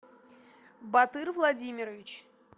батыр владимирович